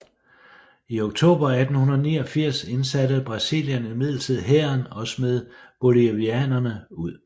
I oktober 1889 indsatte Brasilien imidlertid hæren og smed bolivianerne ud